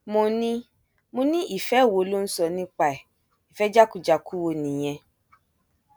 mo ní mo ní ìfẹ wo ló ń sọ nípa ẹ ìfẹ jákujàku wo nìyẹn